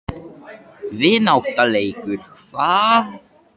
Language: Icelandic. Vináttuleikur hvað?